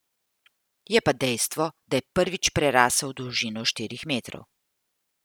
Je pa dejstvo, da je prvič prerasel dolžino štirih metrov.